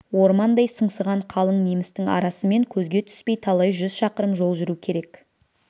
ормандай сыңсыған қалың немістің арасымен көзге түспей талай жүз шақырым жол жүру керек